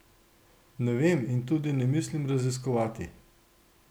Ne vem in tudi ne mislim raziskovati.